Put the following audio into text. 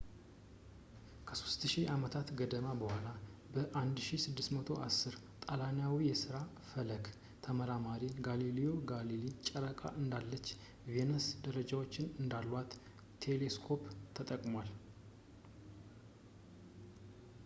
ከሦስት ሺህ ዓመታት ገደማ በኋላ በ 1610 ጣሊያናዊው የሥነ ፈለክ ተመራማሪ ጋሊልዮ ጋሊሌይ ጨረቃ እንዳለችው ቬነስ ደረጃዎች እንዳሏት በቴሌስኮፕ ተጠቅሟል